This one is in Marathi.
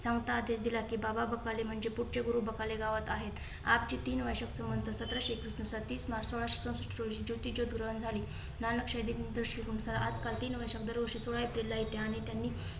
ते दिला की बाबा बकाली म्हणजे पुढचे गुरु बकले गावात आहेत. आपजी तीन वर्षांत सत्राशे एकवीस नुसार तीस मार्च सोळाशे चौषष्ट रोजी दुराळं झाली. नानक नुसार आजकाल तीन वर्षात सोळा एप्रिलला